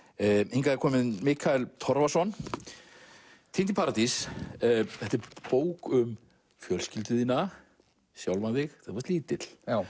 hingað er kominn Mikael Torfason týnd í paradís þetta er bók um fjölskyldu þína sjálfan þig þú varst lítill